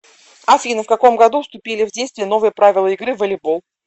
афина в каком году вступили в действие новые правила игры в волейбол